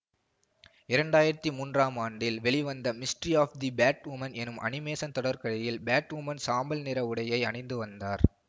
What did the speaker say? இரண்டு ஆயிரத்தி மூன்றாம் ஆண்டில் வெளிவந்த மிஸ்ட்ரி ஆப் தி பேட்வுமன் எனும் அனிமேசன் தொடர்கதையில் பேட்வுமன் சாம்பல் நிற உடையை அணிந்துவந்தார்